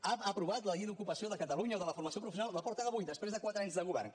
ha aprovat la llei d’ocupació de catalunya o de la formació professional la porten avui després de quatre anys de govern